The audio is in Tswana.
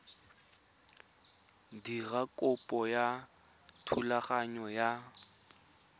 dira kopo ya thulaganyo ya